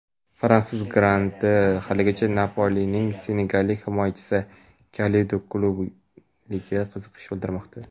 fransuz grandi haligacha "Napoli"ning senegallik himoyachisi Kalidu Kulibaliga qiziqish bildirmoqda.